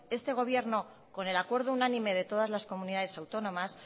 este gobierno con el acuerdo unánime de todas las comunidades autónomas